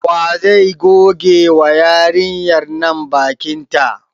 Wa zai goge wa yarinyar nan bakin ta?